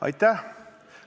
Aitäh!